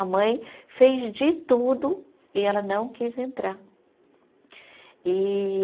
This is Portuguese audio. A mãe fez de tudo e ela não quis entrar. E